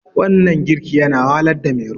wannan girki yana wahalarda Mero